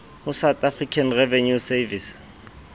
ho south african revenue service